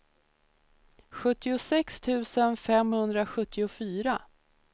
sjuttiosex tusen femhundrasjuttiofyra